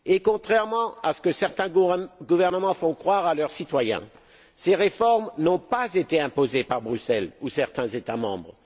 Contrairement à ce que certains gouvernements font croire à leurs citoyens, ces réformes n'ont pas été imposées par Bruxelles ou certains États membres.